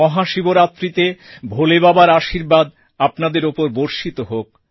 মহাশিবরাত্রিতে ভোলে বাবার আশীর্বাদ আপনাদের ওপর বর্ষিত হোক